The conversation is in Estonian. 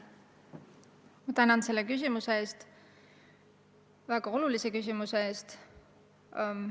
Ma tänan selle väga olulise küsimuse eest!